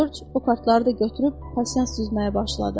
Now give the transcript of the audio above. Corc o kartları da götürüb pasiyan süzməyə başladı.